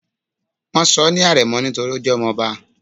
wón sò ní arémò nítorí o jé ọmọ obá